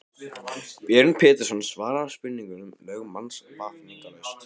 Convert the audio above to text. Björn Pétursson svaraði spurningum lögmanns vafningalaust.